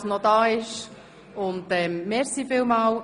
Es wird nämlich knapp mit der Beschlussfähigkeit.